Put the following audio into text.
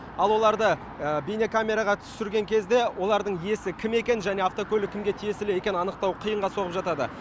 ал оларды бейнекамераға түсірген кезде олардың иесі кім екенін және автокөлік кімге тиесілі екенін анықтау қиынға соғып жатады